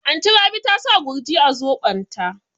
Anty Rabi ta sa Gurji a zobon ta